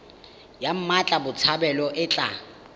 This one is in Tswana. ya mmatla botshabelo e tla